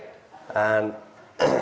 en